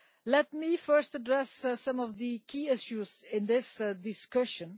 Let me first address some of the key issues in this discussion.